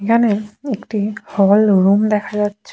এখানে একটি hall room দেখা যাচ্ছে।